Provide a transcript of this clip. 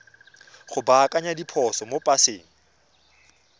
go baakanya diphoso mo paseng